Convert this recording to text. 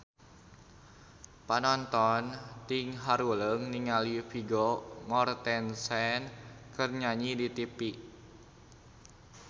Panonton ting haruleng ningali Vigo Mortensen keur nyanyi di tipi